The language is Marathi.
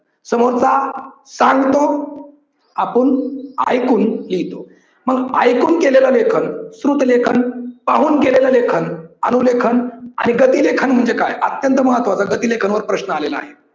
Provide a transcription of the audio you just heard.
समोरचा सांगतो आपण ऐकून लिहितो. मग ऐकून केलेलं लेखन श्रुत लेखन, पाहून केलेलं लेखन अनु लेखन आणि गती लेखन म्हणजे काय अत्यंत महत्वाच गती लेखन वर प्रश्न आलेला आहे.